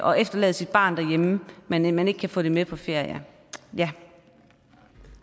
og efterlade sit barn derhjemme men at man ikke kan få hjælpen med på ferie